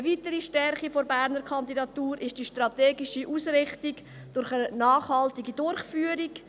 Eine weitere Stärke der Berner Kandidatur ist die strategische Ausrichtung auf eine nachhaltige Durchführung.